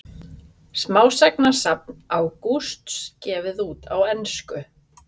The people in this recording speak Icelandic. Smásagnasafn Ágústs gefið út á ensku